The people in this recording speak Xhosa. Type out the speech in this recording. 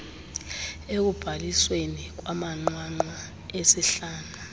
ekubhalisweni kwamanqwanqwa esihlanu